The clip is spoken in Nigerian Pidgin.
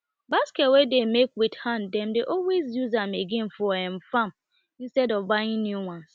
basket wey dem make with hand dem dey always use am again for farm instead of buying new ones